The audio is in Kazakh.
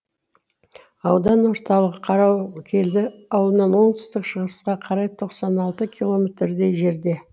аудан орталығы қарауылкелді ауылынан оңтүстік шығысқа қарай тоқсан алты километрдей жерде